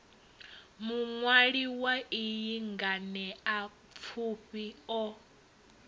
muṅwali wa iyi nganeapfufhi o